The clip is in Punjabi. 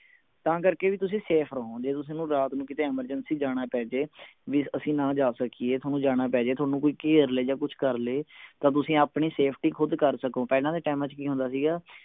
ਤਾਂ ਕਰਕੇ ਵੀ ਤੁਸੀਂ safe ਰਹੋ ਜੇ ਥੋਨੂੰ ਰਾਤ ਨੂੰ ਕਿਤੇ emergency ਜਾਣਾ ਪੈ ਜਾਏ ਵੀ ਅਸੀਂ ਨਾ ਜਾ ਸਕੀਏ ਥੋਨੂੰ ਜਾਣਾ ਪੈ ਜਾਇ ਥੋਨੂੰ ਕੋਈ ਘੇਰ ਲੈ ਜਾ ਕੁਛ ਕਰਲੇ ਤਾਂ ਤੁਸੀਂ ਆਪਣੀ safety ਖੁਦ ਕਰ ਸਕੋਂ ਪਹਿਲਾਂ ਦੇ ਟੈਮਾਂ ਚ ਕਿ ਹੁੰਦਾ ਸੀ ਗਾ